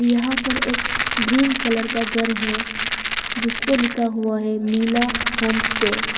यहां पर एक ग्रीन कलर का घर है जिसपे लिखा हुआ है मिला होमस्टे ।